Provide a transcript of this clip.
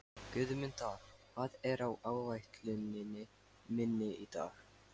Guðmunda, hvað er á áætluninni minni í dag?